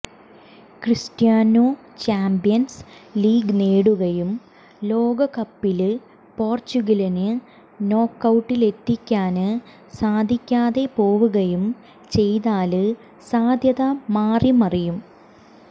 Cristiano champions league നേടുകയും ലോകകപ്പില് പോര്ച്ചുഗലിനെ നോക്കൌട്ടിലെത്തിക്കാന് സാധിക്കാതെ പോവുകയും ചെയ്താല് സാധ്യത മാറി മറിയും